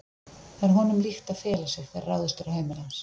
Það er honum líkt að fela sig þegar ráðist er á heimili hans.